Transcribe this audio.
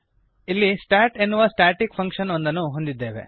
ಇಲ್ಲಿ ಸ್ಟಾಟ್ ಎನ್ನುವ static function ಒಂದನ್ನು ನಾವು ಹೊಂದಿದ್ದೇವೆ